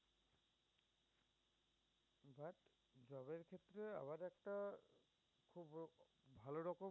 একটা খুব ভাল রকম